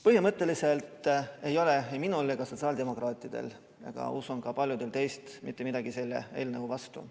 Põhimõtteliselt ei ole ei minul ega sotsiaaldemokraatidel ja usun, et ka paljudel teist, mitte midagi selle eelnõu vastu.